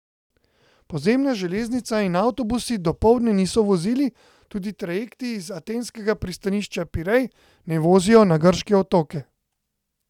Podzemna železnica in avtobusi dopoldne niso vozili, tudi trajekti iz atenskega pristanišča Pirej ne vozijo na grške otoke.